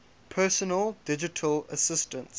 personal digital assistants